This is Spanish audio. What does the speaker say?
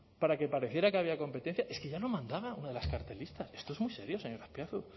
para que pareciera que había competencia es que ya lo mandaba una de las cartelistas esto es muy serio señor azpiazu